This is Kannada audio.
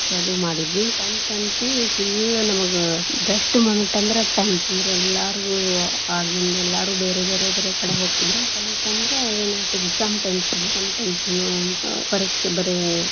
ಕ್ಕ ಅದು ಮಾಡಿದ್ವಿ, tenth ಅಂತಿ full ನಮಗ best moment ಅಂದ್ರ tenth , ಅಂದ್ರೆ ಎಲ್ಲರು ಆಗಿನ್ದೆಲ್ಲರೂ ಬೇರೆ ಬೇರೆ ಬೇರೆ ಕಡೆ ಹೋಗಿದ್ರು tenth ಅಂದ್ರೇನು exam tension ಪರೀಕ್ಷೆ ಬರೆ.